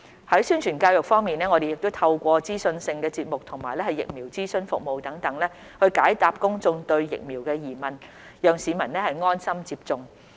在宣傳教育方面，我們透過資訊性節目及疫苗諮詢服務等，解答公眾對疫苗的疑問，讓市民安心接種。